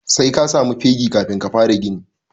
Sai ka samu fegi kafin ka fara gini.